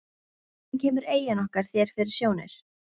Hvernig kemur eyjan okkar þér fyrir sjónir?